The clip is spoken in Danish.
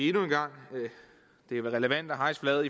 endnu en gang er relevant at hejse flaget